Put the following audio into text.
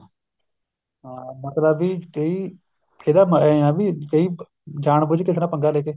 ਹਾਂ ਮਤਲਬ ਵੀ ਕਈ ਇਹਦਾ ਐਂ ਆ ਵੀ ਕਈ ਜਾਣ ਬੁੱਝ ਕੇ ਕਿਸੇ ਨਾਲ ਪੰਗਾ ਲੈਕੇ